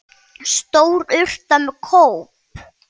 Stór urta með kóp.